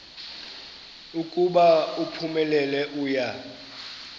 ukuba uphumelele uya